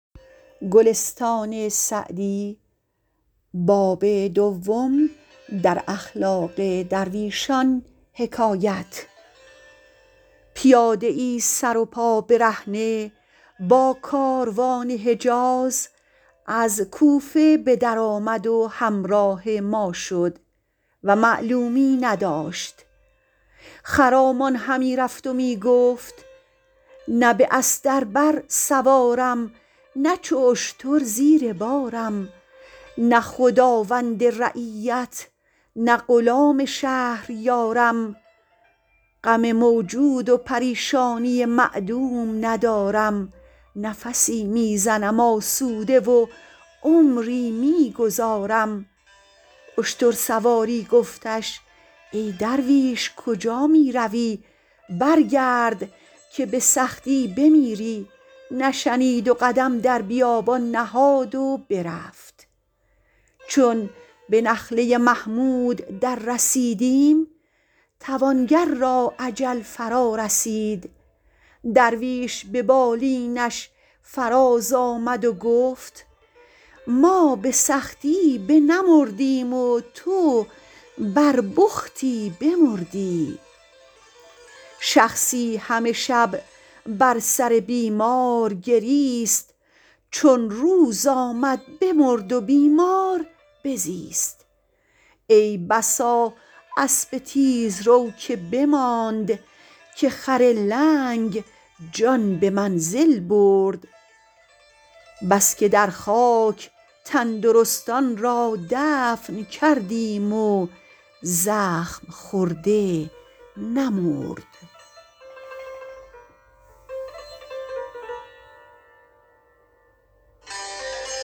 پیاده ای سر و پا برهنه با کاروان حجاز از کوفه به در آمد و همراه ما شد و معلومی نداشت خرامان همی رفت و می گفت نه به استر بر سوارم نه چو اشتر زیر بارم نه خداوند رعیت نه غلام شهریارم غم موجود و پریشانی معدوم ندارم نفسی می زنم آسوده و عمری می گذارم اشتر سواری گفتش ای درویش کجا می روی برگرد که به سختی بمیری نشنید و قدم در بیابان نهاد و برفت چون به نخله محمود در رسیدیم توانگر را اجل فرا رسید درویش به بالینش فراز آمد و گفت ما به سختی بنمردیم و تو بر بختی بمردی شخصی همه شب بر سر بیمار گریست چون روز بشد بمرد و بیمار بزیست ای بسا اسب تیزرو که بماند که خر لنگ جان به منزل برد بس که در خاک تندرستان را دفن کردیم و زخم خورده نمرد